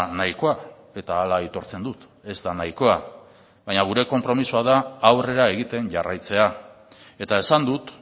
nahikoa eta hala aitortzen dut ez da nahikoa baina gure konpromisoa da aurrera egiten jarraitzea eta esan dut